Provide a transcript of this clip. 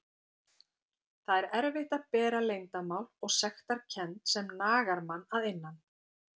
Það er erfitt að bera leyndarmál og sektarkennd sem nagar mann að innan.